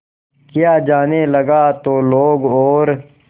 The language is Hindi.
किया जाने लगा तो लोग और